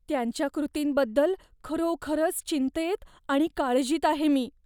त्यांच्या कृतींबद्दल खरोखरच चिंतेत आणि काळजीत आहे मी.